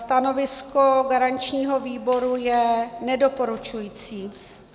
Stanovisko garančního výboru je nedoporučující.